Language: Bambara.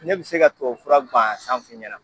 Ne bɛ se ka tubabu fura guwanzan f'i ɲɛna.